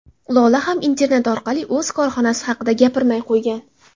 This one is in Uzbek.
Lola ham internet orqali o‘z korxonasi haqida gapirmay qo‘ygan.